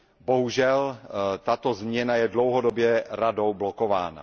Bohužel tato změna je dlouhodobě Radou blokována.